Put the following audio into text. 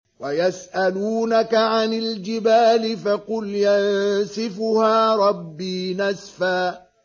وَيَسْأَلُونَكَ عَنِ الْجِبَالِ فَقُلْ يَنسِفُهَا رَبِّي نَسْفًا